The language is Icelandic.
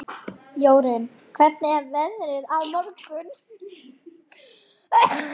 Jórunn, hvernig er veðrið á morgun?